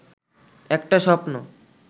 একটা স্বপ্ন